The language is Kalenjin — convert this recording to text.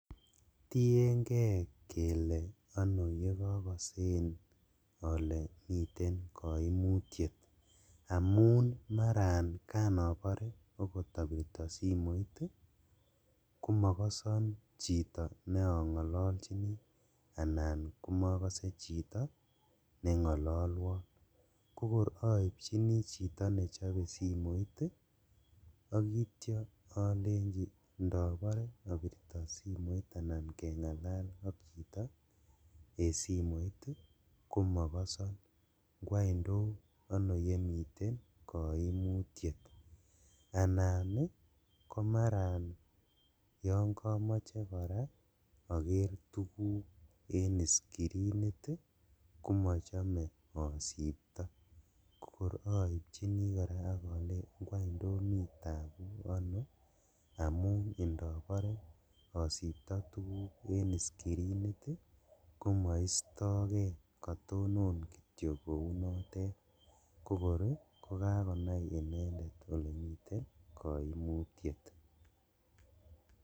Tiengee kele ono yekokosen ole miten koimutiet, amun maran kan obore okot obirto simoit ii komokoson chito ne ongololjini anan komokose chiton nengololwon kokor oibjini chito nechobe simoit ii ak itio olenjin indobore obirto simoit anan kengalal ok chito en simoit komokoson , ngwany tos ono yemiten koimutiet? anan ii komaran yon komoche koraa oker tuguk en iscreenit ii komochome osipto kokor oibjini koraa ok olenjini ngwan tomi tabu amun indobore osipto tuguk en iscreenit komoistokee kotonon kityok kounotet kokor ii kokakonai inendet elemiten koimutiet.